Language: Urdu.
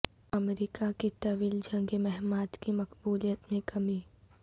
امریکہ کی طویل جنگی مہمات کی مقبولیت میں کمی